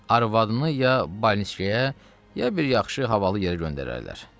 Arvadını ya bolniçkaya, ya bir yaxşı havalı yerə göndərərlər.